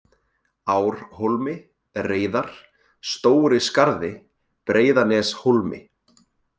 Árhólmi, Reiðar, Stóri-Skarði, Breiðaneshólmi